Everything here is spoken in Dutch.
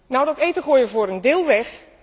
Nou, dat eten gooien we voor een deel weg.